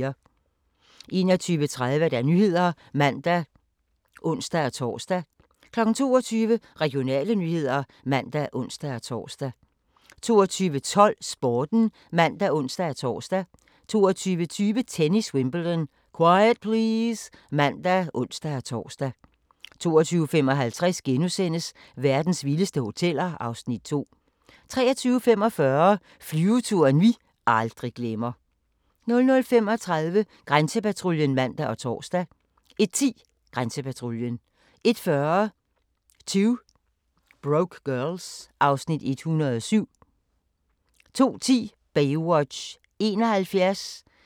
21:30: Nyhederne (man og ons-tor) 22:00: Regionale nyheder (man og ons-tor) 22:12: Sporten (man og ons-tor) 22:20: Tennis: Wimbledon - quiet please! (man og ons-tor) 22:55: Verdens vildeste hoteller (Afs. 2)* 23:45: Flyveturen vi aldrig glemmer 00:35: Grænsepatruljen (man og tor) 01:10: Grænsepatruljen 01:40: 2 Broke Girls (Afs. 107) 02:10: Baywatch (71:243)